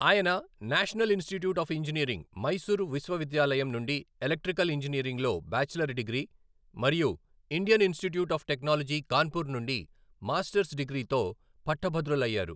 ఆయన National Institute of Engineering, Mysore విశ్వవిద్యాలయం నుండి ఎలక్ట్రికల్ ఇంజనీరింగ్లో బ్యాచిలర్ డిగ్రీ మరియు Indian Institute of Technology Kanpur నుండి మాస్టర్స్ డిగ్రీతో పట్టభద్రులయ్యారు.